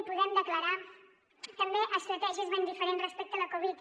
i puguem declarar també estratègies ben diferents respecte a la covid